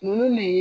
Ninnu de